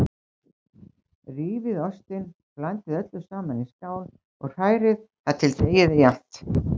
Rífið ostinn, blandið öllu saman í skál og hrærið þar til deigið er jafnt.